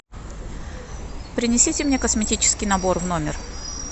принесите мне косметический набор в номер